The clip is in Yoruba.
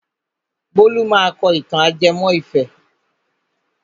Bólú máa kọ ìtàn ajẹmọ́ ìfẹ́.